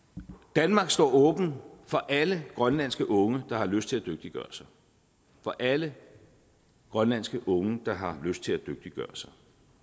danmark står åben for alle grønlandske unge der har lyst til at dygtiggøre sig for alle grønlandske unge der har lyst til at dygtiggøre sig